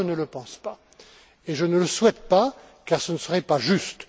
Moi, je ne le pense pas, et je ne le souhaite pas, car ce ne serait pas juste.